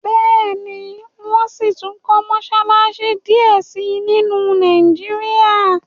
béèni wón síi tún kò Mossalassi diẹ sí nínu Nàìjíríà.